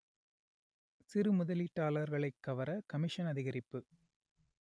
சிறு முதலீட்டாளர்களை கவர கமிஷன் அதிகரிப்பு